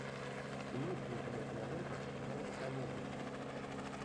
имеется ли у тебя кинолента в жанре комедия